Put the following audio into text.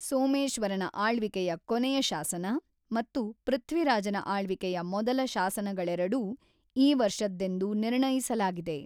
ಸೋಮೇಶ್ವರನ ಆಳ್ವಿಕೆಯ ಕೊನೆಯ ಶಾಸನ ಮತ್ತು ಪೃಥ್ವಿರಾಜನ ಆಳ್ವಿಕೆಯ ಮೊದಲ ಶಾಸನಗಳೆರಡೂ ಈ ವರ್ಷದ್ದೆಂದು ನಿರ್ಣಯಿಸಲಾಗಿದೆ.